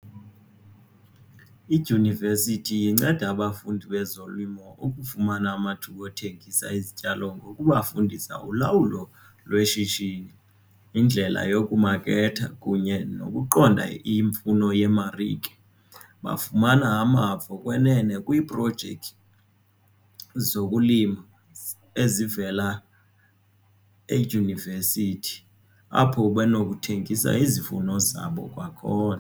Idyunivesithi inceda abafundi bezolimo ukufumana amathuba othengisa izityalo ngokubafundisa ulawulo lweshishini indlela yokumaketha kunye nokuqonda imfuno yemarike. Bafumana amava okwenene kwiiprojekthi zokulima ezivela edyunivesithi apho benokuthengisa izivuno zabo kwakhona.